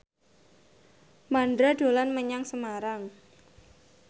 Mandra dolan menyang Semarang